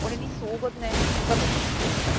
One nisu ugodne i vrlo su skupe.